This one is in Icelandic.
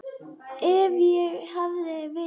Ef ég hefði vitað.